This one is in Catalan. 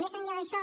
més enllà d’això